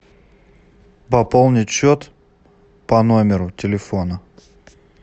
пополнить счет по номеру телефона